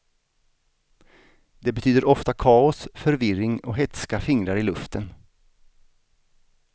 Det betyder ofta kaos, förvirring och hätska fingrar i luften.